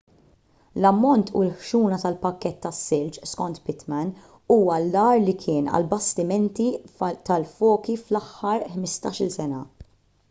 l-ammont u l-ħxuna tal-pakkett tas-silġ skont pittman huwa l-agħar li kien għall-bastimenti tal-foki fl-aħħar 15-il sena